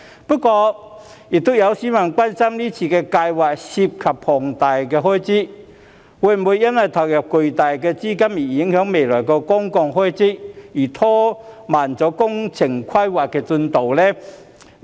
不過，亦有市民關心這項計劃涉及龐大開支，會否因投入巨大資金而影響未來的公共開支，因而拖慢工程規劃的進度？